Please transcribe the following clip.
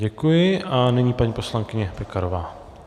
Děkuji a nyní paní poslankyně Pekarová.